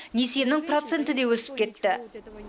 несиемнің проценті де өсіп кетті